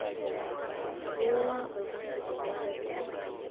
Ming'ua olkasi telaari.